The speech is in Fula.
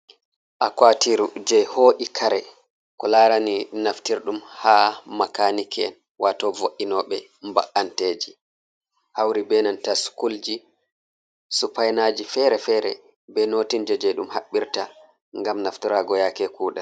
Akwua tiru je ho’i kare ko larani naftirɗum ha makaniki'en wato vo’itinoɓe ba’anteji hauri be nanta skul ji supainaji fere-fere be notinji je ɗum haɓɓirta ngam naftirago yake kuɗe.